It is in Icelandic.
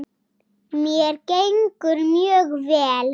Mér gengur mjög vel.